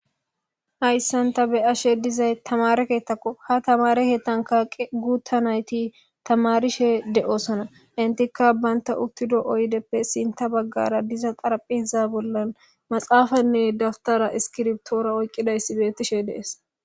hayssanta be'ashe dizay tamare keettakko ha tamare hettankaqe guutta nayti tamarishe de7osana intikka baynta uttido oydeppe sinta baggara diza qaraphiza bollan maxaafanne dabtara iskirbtoora oyqqidayssi beettishe dees